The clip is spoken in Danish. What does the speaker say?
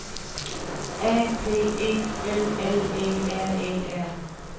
A P E L L E R E R